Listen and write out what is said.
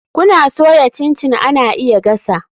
Kuna soya chin chin ana iya gasa.